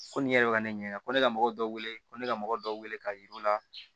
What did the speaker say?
Ko nin yɛrɛ bɛ ka ne ɲininka ko ne ka mɔgɔw wele ko ne ka mɔgɔ dɔw wele ka yir'u la